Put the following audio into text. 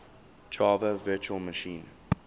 java virtual machine